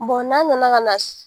n'an nana ka na